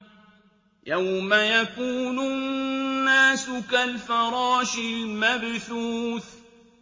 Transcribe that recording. يَوْمَ يَكُونُ النَّاسُ كَالْفَرَاشِ الْمَبْثُوثِ